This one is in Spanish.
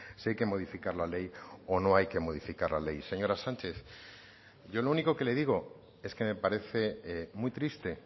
si hay que modificar la ley o no hay que modificar la ley señora sánchez yo lo único que le digo es que me parece muy triste